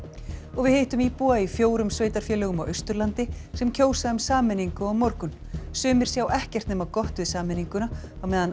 og við hittum íbúa í fjórum sveitarfélögum á Austurlandi sem kjósa um sameiningu á morgun sumir sjá ekkert nema gott við sameininguna á meðan